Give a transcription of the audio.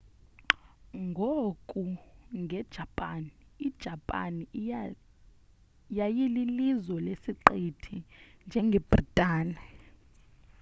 ngoku nge japan ijapan yayililizwe lesiqithi njengebritane